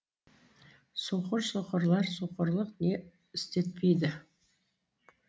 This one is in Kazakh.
соқыр соқырлар соқырлық не істетпейді